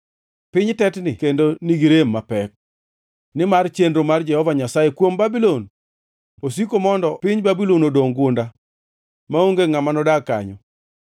Piny tetni kendo nigi rem mapek, nimar chenro mar Jehova Nyasaye kuom Babulon osiko mondo piny Babulon odongʼ gunda, maonge ngʼama nodag kanyo.